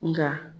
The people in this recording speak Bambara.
Nka